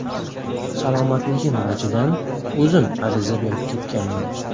Salomatligim vajidan, o‘zim ariza berib ketganman.